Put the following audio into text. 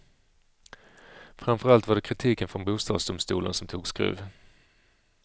Framför allt var det kritiken från bostadsdomstolen som tog skruv.